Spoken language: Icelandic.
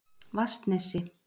Vatnsnesi